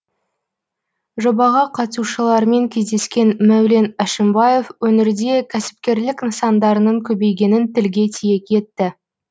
жобаға қатысушылармен кездескен мәулен әшімбаев өңірде кәсіпкерлік нысандарының көбейгенін тілге тиек етті